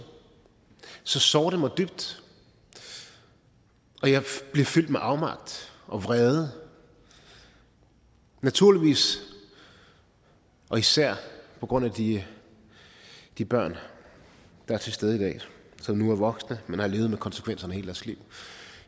så sårer det mig dybt og jeg bliver fyldt med afmagt og vrede naturligvis og især på grund af de de børn der er til stede i dag som nu er voksne men som har levet med konsekvenserne hele deres liv